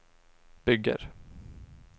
bygger